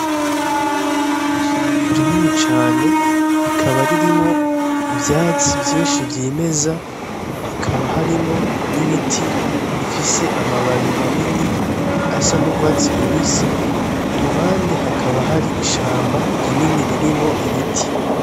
Ishamba rinini cane rikaba ririmwo ivyatsi vyinshi vyimeza, hakaba harimwo n'ibiti bifise amababi manini asa n'urwatsi rubisi, iruhande hakaba hari ishamba rinini ririmwo ibiti.